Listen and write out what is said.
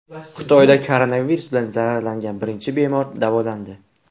Xitoyda koronavirus bilan zararlangan birinchi bemor davolandi.